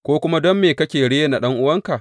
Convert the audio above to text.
Ko kuma don me kake rena ɗan’uwanka?